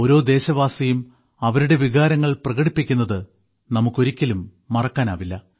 ഓരോ ദേശവാസിയും അവരുടെ വികാരങ്ങൾ പ്രകടിപ്പിക്കുന്നത് നമുക്കൊരിക്കലും മറക്കാനാവില്ല